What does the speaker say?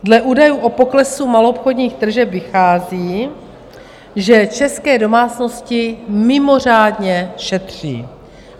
Dle údajů o poklesu maloobchodních tržeb vychází, že české domácnosti mimořádně šetří.